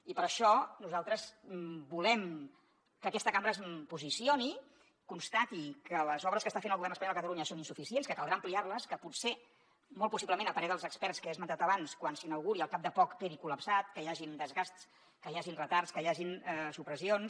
i per això nosaltres volem que aquesta cambra es posicioni constati que les obres que està fent el govern espanyol a catalunya són insuficients que caldrà ampliar les que potser molt possiblement a parer dels experts que he esmentat abans quan s’inauguri al cap de poc quedi col·lapsat que hi hagin desgasts que hi hagin retards que hi hagin supressions